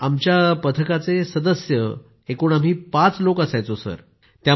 आमच्या पथकाचे सदस्य आम्ही पाच लोक असायचो सर